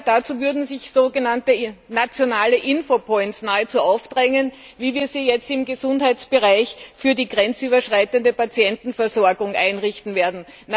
Dazu würden sich so genannte nationale Infopoints nahezu aufdrängen, wie wir sie jetzt im Gesundheitsbereich für die grenzüberschreitende Patientenversorgung einrichten werden.